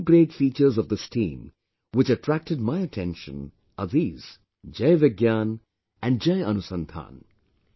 The two great features of this team, which attracted my attention, are these Jai Vigyan and Jai Anusandhan